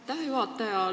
Aitäh, juhataja!